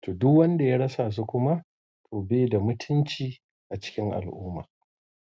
To duk wanda ya rasa su kuma to bai da mutunci a cikin al'umma.